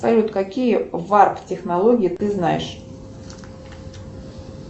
салют какие варп технологии ты знаешь